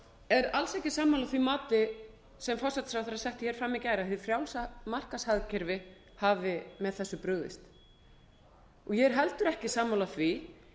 er alls ekki sammála því mati sem forsætisráðherra setti hér fram í gær að hið frjálsa markaðshagkerfi hafi með þessu brugðist ég er heldur ekki sammála því